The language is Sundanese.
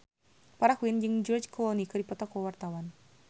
Farah Quinn jeung George Clooney keur dipoto ku wartawan